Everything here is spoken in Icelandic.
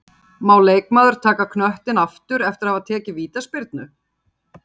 Leikbrot-Má leikmaður taka knöttinn aftur eftir að hafa tekið vítaspyrnu?